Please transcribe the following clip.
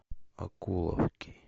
окуловки